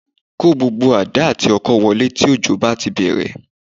Kó gbogbo àdá àti ọkọ́ wọlé tí òjò bá ti bẹ̀rẹ̀